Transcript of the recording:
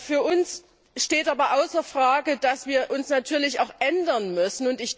Für uns steht aber außer Frage, dass wir uns natürlich auch ändern müssen.